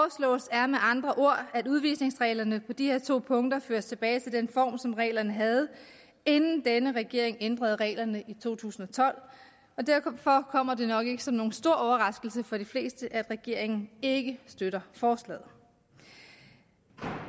er med andre ord at udvisningsreglerne på de her to punkter føres tilbage til den form som reglerne havde inden denne regering ændrede reglerne i to tusind og tolv og derfor kommer det nok ikke som nogen stor overraskelse for de fleste at regeringen ikke støtter forslaget